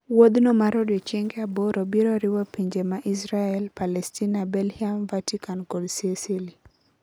Wouthno mar odiochienge aboro broriwopinje ma Israel, Palestina, Belhium, Vatican kod Sicily